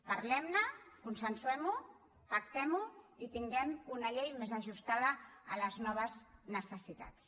parlemne consensuemho pactemho i tinguem una llei més ajustada a les noves necessitats